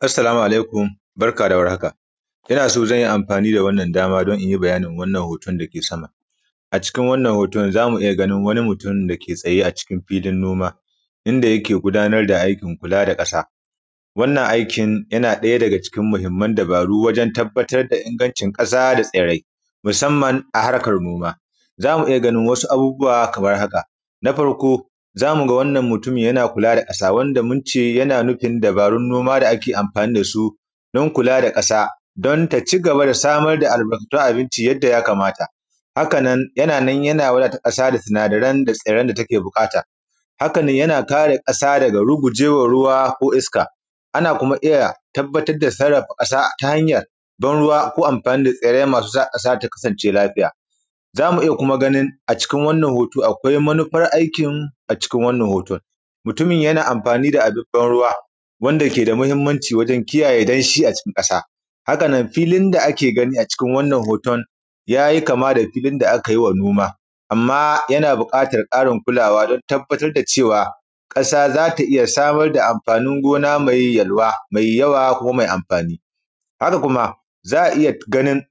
assalamu alaikum barka dawar haka inna so zanyi amafani da wannan dama dan inyi bayanin wannan hoton dake sama a cikin wannan hoton zamu iyya ganin mutun wanda yake tsaye a cikin filin noma inda yake gudanar da aikin kula da kasa wannan aikin yana daya daga cikin mahimman dabaru wurin tabbatar da ingancin kasa daʤ tsirrai musamman a harkan noma zamu iyya ganin wasu abubuwa kamar haka nafar ko zamuga wannan mutumin yana kula da kasa wanda munce yana nufin dabarun noma amfani dasu dan kula da kasa dan ta cigaba da samar da albarkatun abinci yanda ya kamata hakanan yana wadatar da kasa da sinadaran da take bukata hakanan yana kare kasa daga ruguwar ruwa ko iska anna kuma tabbatar da sarrafa ta hanyan banru ko amfani da tsirrai masu sa kasa ta kasance lafiya zamu kuma iyya ganin wannan hoto a cikin wannan hoto akwai manufar aikin a cikin wannan hoton mutumin yana amfani da abin ban ruwa wanda keda mahimmanci wurin kiyaye danshi acikin kasa hakanan filin da ake gani a cikin wannan hoton yayi kama da filin da akai noma yana bukatan Karin kulawa dan tabbatar da cewa kasa zata iyya samun amfanin gona mai yalwa mai yawa kuma mai amfani haka kuma za’a iyya ganin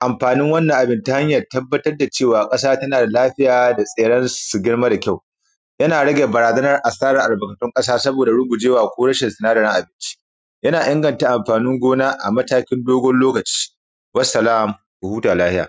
amfanin wannan abin tahanyan tabbatar da cewa kasa tana da lafiya da tsirrai su girma da kyau yana rage barazanar albarkatun kasa saboda rugujewa ko rashin albarkatun kasa mai kyau yana ingantan amfanin gona a matakin dogon lokaci wassalam ku huta lafiya